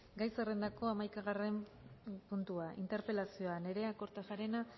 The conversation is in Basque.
gai zerrendako hamaikagarren puntua interpelazioa nerea kortajarena